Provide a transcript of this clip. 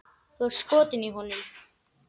Þú ert skotin í honum!